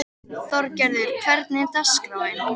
Þorgarður, hvernig er dagskráin?